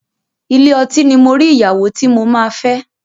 Ilé ọtí ni mo rí ìyàwó tí mo máa fẹ́.